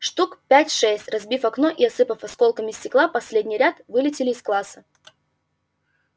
штук пять-шесть разбив окно и осыпав осколками стекла последний ряд вылетели из класса